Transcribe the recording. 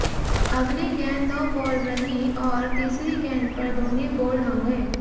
अगली गेंद no ball रही और तीसरी गेंद पर धोनी बोल्ड हो गए